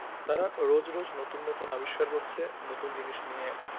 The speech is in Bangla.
তারা রোজ রোজ নতুন নতুন আবিস্কার করছে নতুন জিনিস নিয়ে